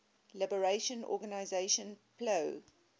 liberation organization plo